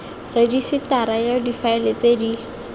rejisetara ya difaele tse di